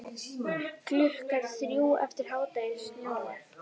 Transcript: Klukkan þrjú eftir hádegi snjóar.